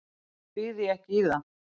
Þá býð ég ekki í það.